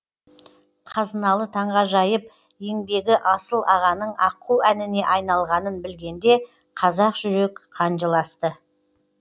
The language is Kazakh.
қазыналы таңғажайып еңбегі асыл ағаның аққу әніне айналғанын білгенде қазақ жүрек қан жыласты